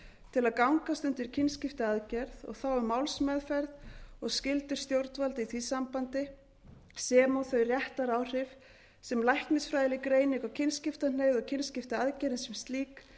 til að gangast undir kynskiptiaðgerð og þá um málsmeðferð og skyldur stjórnvalda í því sambandi sem og þau réttaráhrif sem læknisfræðileg greining á kynskiptahneigð og kynskiptiaðgerðin sem slík